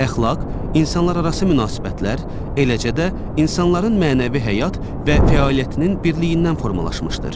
Əxlaq, insanlararası münasibətlər, eləcə də insanların mənəvi həyat və fəaliyyətinin birliyindən formalaşmışdır.